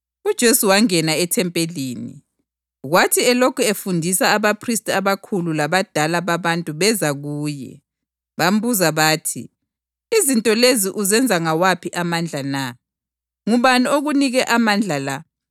UJesu wangena ethempelini, kwathi elokhu efundisa abaphristi abakhulu labadala babantu beza kuye. Bambuza bathi, “Izinto lezi uzenza ngawaphi amandla na? Ngubani okunike amandla la?”